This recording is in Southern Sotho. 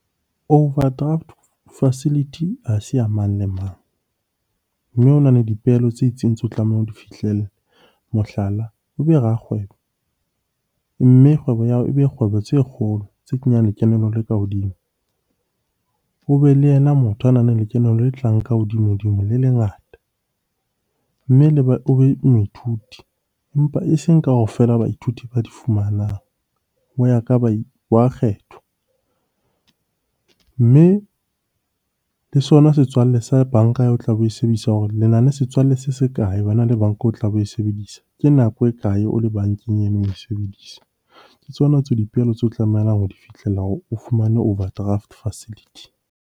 Overdraft facility ha se ya mang le mang, mme ho na le dipehelo tse itseng tseo o tlamehang ho di fihlelle. Mohlala, o be rakgwebo mme kgwebo ya hao ebe kgwebo tse kgolo tse kenyang lekeno le ka hodimo. O be le yena motho a nang lekeno le tlang ka hodimo-dimo le le ngata. Mme o be moithuti empa eseng kaofela baithuti ba di fumanang, ho ya ba kgethwa. Mme le sona setswalle sa banka o tlabe oe sebedisa hore lena le setswalle se se kae wena le banka o tlabe oe sebedisa? Ke nako e kae o le bankeng oe sebedisa. Ke tsona tseo dipehelo tseo o tlamehang ho di fihlella hore o fumane overdraft facility.